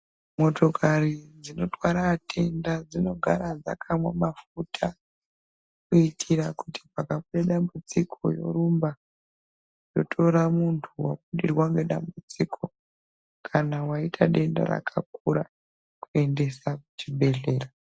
Motokari dzinotwara atenda dzinogara dzakamwa mafuta kuitira kuti pakabude dambudziko yorumba yotora muntu wabudirwa ngedambudziko kana waita denda rakakura kuendesa kuchibhedhlera.